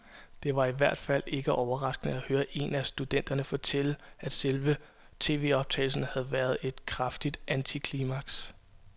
Det var i hvert fald ikke overraskende at høre en af studenterne fortælle, at selve tvoptagelsen havde været et kraftigt antiklimaks.